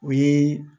O ye